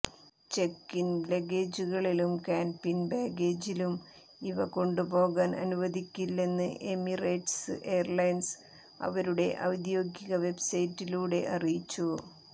check in ലഗേജുകളിലും cabin ബാഗേജിലും ഇവ കൊണ്ടുപോകാൻ അനുവദിക്കില്ലെന്ന് എമിറേറ്റ്സ് എയർലൈൻ അവരുടെ ഔദ്യോഗിക വെബ്സൈറ്റിലൂടെ അറിയിച്ചു